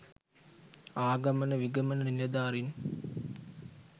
ආගමන විගමන නිලධාරීන්